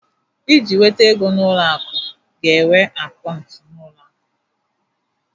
Iji nweta ego n'aka ụlọ akụ ga-enwe akaụntụ na ụlọ akụ